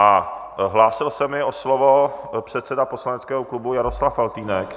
A hlásil se mi o slovo předseda poslaneckého klubu Jaroslav Faltýnek.